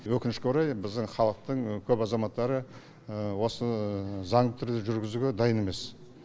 өкінішке орай біздің халықтың көп азаматтары осы заңды түрде жүргізуге дайын емес